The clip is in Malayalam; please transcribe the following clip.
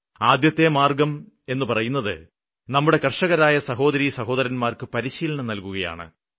ആദ്യത്തെ മാര്ഗ്ഗം എന്നു പറയുന്നത് നമ്മുടെ കര്ഷകരായ സഹോദരീസഹോദരന്മാര്ക്ക് പരിശീലനം നല്കുകയാണ്